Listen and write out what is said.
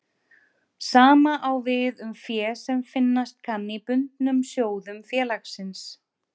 Sama á við um fé sem finnast kann í bundnum sjóðum félagsins.